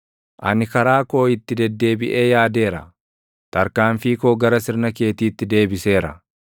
Ani karaa koo itti deddeebiʼee yaadeera; tarkaanfii koo gara sirna keetiitti deebiseera.